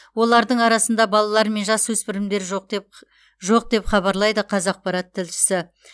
олардың арасында балалар мен жасөспірімдер жоқ деп хабарлайды қазақпарат тілшісі